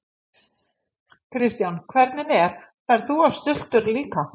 Kristján: Hvernig er, ferð þú á stultur líka?